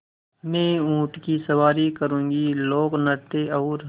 मैं ऊँट की सवारी करूँगी लोकनृत्य और